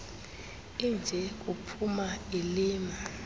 inje kuphuma ilima